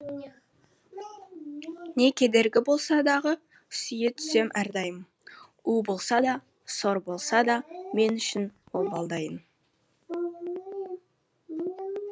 не кедергі болса дағы сүйе түсем әрдайым у болса да сор болса да мен үшін ол балдайын